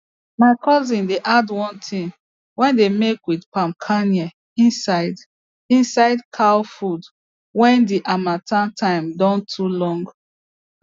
my cousin dey add one thing wey dey make with palm kernel inside inside cow food wen d harmattan time don too long